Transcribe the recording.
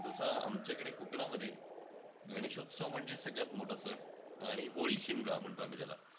तसं आमच्याकडे कोकणामध्ये गणेश उत्सव म्हणजे सगळ्यात मोठा सण, आणि होळी. शिमगा म्हणतो आम्ही त्याला.